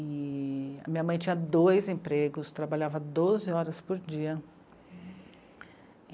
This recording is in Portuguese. E a minha mãe tinha dois empregos, trabalhava doze horas por dia.